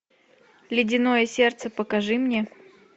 ледяное сердце покажи мне